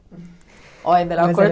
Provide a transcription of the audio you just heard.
Oh é melhor